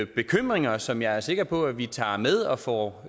bekymringer som jeg er sikker på at vi tager med og får